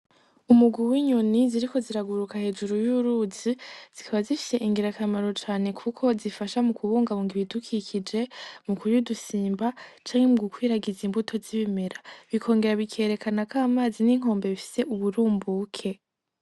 Umugwi w’inyoni ziriko ziraguruka hejuru y'uruzi zikaba zifise ingirakamaro cane kuko zifasha mukubungabunga ibidukikije mukurudusimba canke mugukwirakwiza imbuto z'ibimera bikongera bikerekana ko amazi n’inkombe bifise uburumbuke.